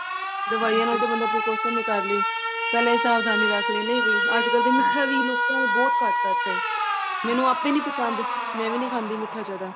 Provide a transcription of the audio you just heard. ਦਵਾਈਆਂ ਨਾਲ ਬੰਦਾ percussion ਏ ਕਰਲੇ ਪਹਿਲੇ ਸਾਲ ਤਾਂ ਨਹੀਂ ਰੱਖ ਲੇਣੇ ਵੀ ਅੱਜ ਕੱਲ ਤਾਂ ਮਿੱਟਾ ਵੀ ਲੋਕਾਂ ਨੇ ਬਹੁਤ ਘੱਟ ਕਰਤਾ ਏ ਮੈਨੂੰ ਆਪੇ ਹੀ ਨਹੀਂ ਪਸੰਦ ਮੈਂ ਵੀ ਨਹੀਂ ਖਾਂਦੀ ਮਿੱਟਾ ਜਿਆਦਾ